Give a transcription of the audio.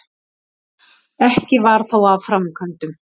Ekki varð þó af framkvæmdum.